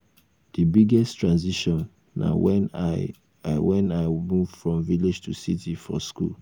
di biggest transition na when i when i move from village to city for school.